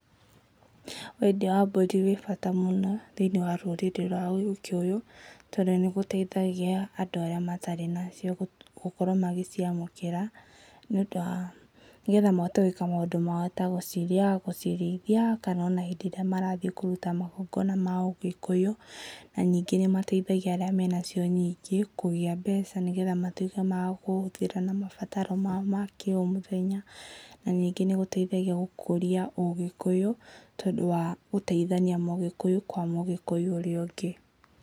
Wendia wa mbũri wĩbata mũno, thĩiniĩ wa rũrĩrĩ rwa Ũgĩkũyũ, tondũ nĩ gũteithagia andũ arĩa matarĩ macio gũkorwo magĩciamũkĩra, nĩ ũndũ wa, nĩgetha mahote gwĩka maũndũ mao tagũcirĩa, gũcirĩithia, kana ona hĩndĩ ĩrĩa marathiĩ kũruta magongona ma Ũgĩkũyũ. Na ningĩ nĩ mateithagĩa arĩa menacio nyingĩ kũgĩa mbeca nĩgetha mahote makũcihũthĩra na mabataro mao makĩũmũthenya. Na nĩngĩ nĩ gũteithagia gũkũria Ũgĩkũyũ, tondũ wa gũteithania Mũhĩkũyũ kwa Mũgĩkũyũ ũrĩa ũngĩ.